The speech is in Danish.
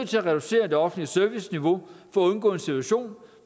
til at reducere det offentlige serviceniveau for at undgå en situation